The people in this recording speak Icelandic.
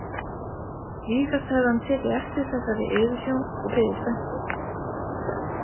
Vísast hefði hann tekið eftir þessari yfirsjón og biði spenntur.